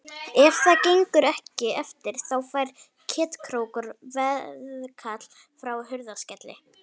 Ef það gengur ekki eftir þá fær Ketkrókur veðkall frá Hurðaskelli.